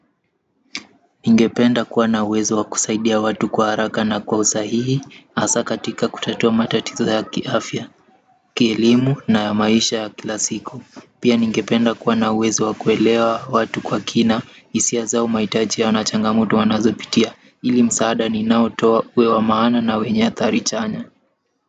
Ningependa kuwa na uwezo wa kusaidia watu kwa haraka na kwa usahihi, hasa katika kutatua matatizo ya kiafya, kielimu na ya maisha ya kila siku. Pia ningependa kuwa na uwezo wa kuelewa watu kwa kina, hisia zao mahitaji yao na changamoto wanazopitia, ili msaada ninaotoa uwe wa maana na wenye ya athari chanya.